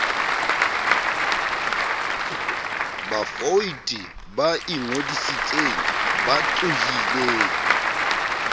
bavouti ba ingodisitseng ba tlohileng